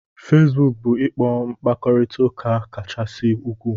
Fesbuku bu ikpo mkpakorita uka kachasị ukwuu